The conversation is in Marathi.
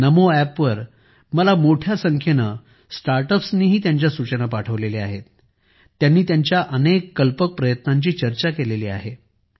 नमो अॅपवर मलामोठ्या संख्येने स्टार्टअप्सनीही त्यांच्या सूचना पाठवल्या आहेत त्यांनी त्यांच्या अनेक अनोख्या प्रयत्नांची चर्चा केली आहे